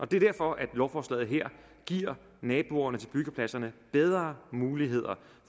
det er derfor lovforslaget her giver naboerne til byggepladserne bedre muligheder